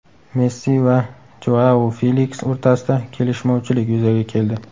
Messi va Joau Feliks o‘rtasida kelishmovchilik yuzaga keldi.